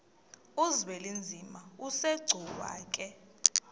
uzwelinzima asegcuwa ke